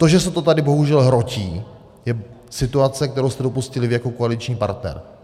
To, že se to tady bohužel hrotí, je situace, kterou jste dopustili vy jako koaliční partner.